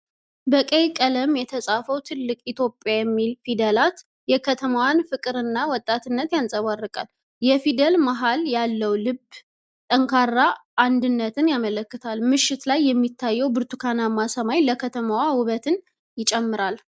በቀይ ቀለም የተጻፈው ትልቅ "ኢትዮጵያ" የሚል ፊደላት የከተማዋን ፍቅርና ወጣትነት ያንፀባርቃል። የፊደል መሃል ያለው ልብ ጠንካራ አንድነትን ያመለክታል። ምሽት ላይ የሚታየው ብርቱካናማ ሰማይ ለከተማዋ ውበት ይጨምራል።